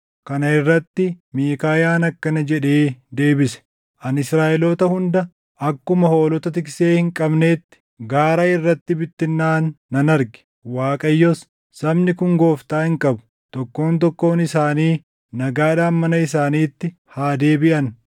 Kana irratti Miikaayaan akkana jedhee deebise; “Ani Israaʼeloota hunda akkuma hoolota tiksee hin qabneetti gaara irratti bittinnaaʼan nan arge. Waaqayyos, ‘Sabni kun gooftaa hin qabu. Tokkoon tokkoon isaanii nagaadhaan mana isaaniitti haa deebiʼan.’ ”